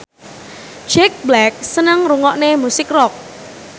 Jack Black seneng ngrungokne musik rock